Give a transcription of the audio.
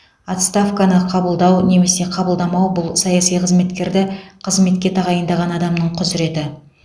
отставканы қабылдау немесе қабылдамау бұл саяси қызметкерді қызметке тағайындаған адамның құзыреті